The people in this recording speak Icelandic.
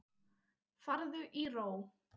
Farðu í ró.